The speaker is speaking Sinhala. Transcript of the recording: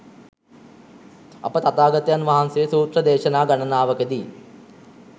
අප තථාගතයන් වහන්සේ සූත්‍ර දේශනා ගණනාවකදී